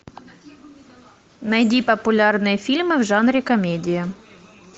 найди популярные фильмы в жанре комедия